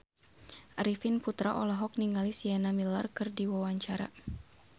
Arifin Putra olohok ningali Sienna Miller keur diwawancara